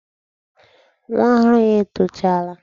Nwa ọhụrụ ya etochaala.